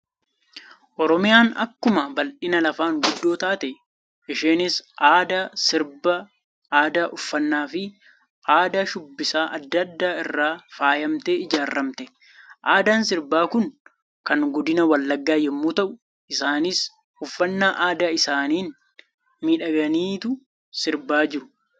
Oromiyaan akkuma baldhina lafaan guddoo taate, isheenis aadaa sirbaa, aadaa uffannaa, fi aadaa shubbisaa addaa addaa irra faayamtee ijaaramte. Aadaan sirbaa Kun, kan godina wallaggaa yemmuu ta'u, isaanis uffannaa aadaa isaaniin miidhaganiitu sirbaa jiru.